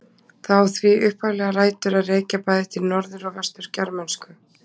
Það á því upphaflega rætur að rekja bæði til norður- og vestur-germönsku.